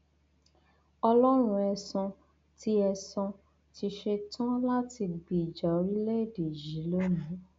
ọlọrun ẹsan ti ẹsan ti ṣetán láti gbèjà orílẹèdè yìí lónìí